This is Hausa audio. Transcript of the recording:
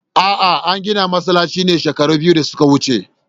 A'a, an gina masallacin ne shekaru biyu da suka wuce.